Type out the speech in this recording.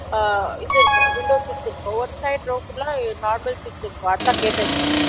அ இது இருக்கும் window seat இருக்கும் ஒரு side row full ஆஹ் normal seat இருகும் அதான் கேட்டேன் sir